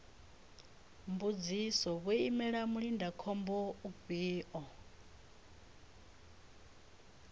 mbudziso vho imela mulindakhombo ufhio